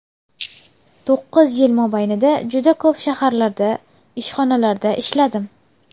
To‘qqiz yil mobaynida juda ko‘p shaharlarda, ishxonalarda ishladim.